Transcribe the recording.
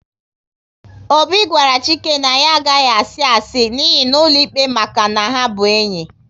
Obi gwara Chike na ya agaghi asi asị n'iyi n'ụlọikpe maka na ha bụ enyi